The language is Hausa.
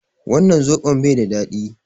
Wannan soɓon baida daɗi